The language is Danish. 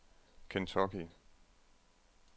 Kentucky